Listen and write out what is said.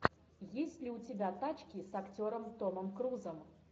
есть ли у тебя тачки с актером томом крузом